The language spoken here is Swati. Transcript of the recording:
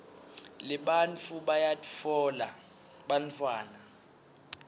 nebantfu bayabatfola bantfwana